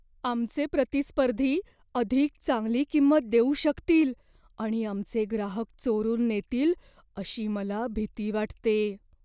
आमचे प्रतिस्पर्धी अधिक चांगली किंमत देऊ शकतील आणि आमचे ग्राहक चोरून नेतील अशी मला भीती वाटते.